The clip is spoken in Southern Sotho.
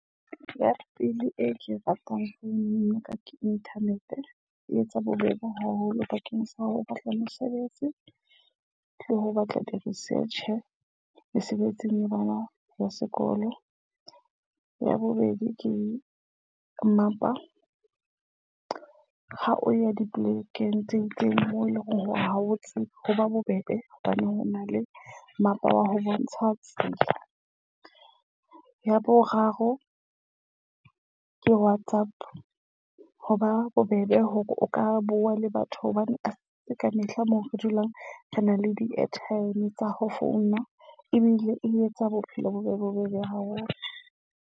Ya pele e ke ratang ho nna ka internet. E etsa bobebe haholo bakeng sa ha ho batla mesebetsi le ho batla di-research mesebetsing ya bona ya sekolo. Ya bobedi ke mmapa, ha o ya dipolekeng tse itseng moo eleng hore habotse ho ba bobebe hobane ho na le mmapa wa ho bontsha tsela. Ya boraro ke Whatsapp. Ho ba bobebe hore o ka bua le batho hobane a se ka mehla moo re dulang re na le di airtime tsa ho founa. Ebile e etsa bophelo bo be bobebe haholo.